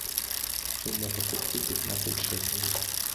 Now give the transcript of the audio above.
сумма покупки пятнадцать шекелей